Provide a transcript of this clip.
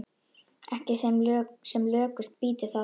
Ekki sem lökust býti það.